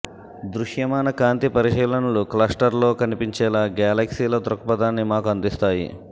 దృశ్యమాన కాంతి పరిశీలనలు క్లస్టర్ల్లో కనిపించేలా గెలాక్సీల దృక్పథాన్ని మాకు అందిస్తాయి